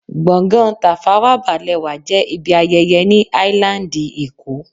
Gbọ̀ngán Tafawa Balewa jẹ́ ibi ayẹyẹ ni áílándì èkó